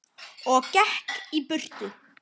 Og gekk í burtu.